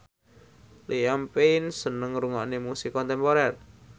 Liam Payne seneng ngrungokne musik kontemporer